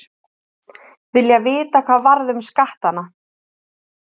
Vilja vita hvað varð um skattana